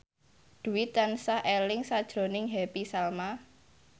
Dwi tansah eling sakjroning Happy Salma